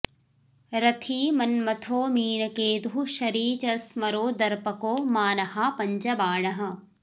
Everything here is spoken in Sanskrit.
रथी मन्मथो मीनकेतुः शरी च स्मरो दर्पको मानहा पञ्चबाणः